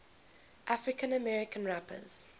african american rappers